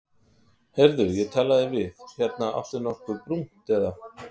Heyrðu ég talaði við. hérna áttu nokkuð brúnt, eða?